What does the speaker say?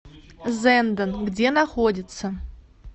зенден где находится